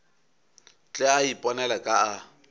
tle a iponele ka a